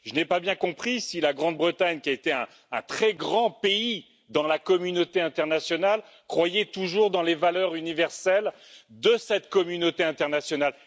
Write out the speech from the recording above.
Je n'ai pas bien compris si la Grande Bretagne, qui a été un très grand pays dans la communauté internationale, croyait toujours aux valeurs universelles de cette communauté internationale.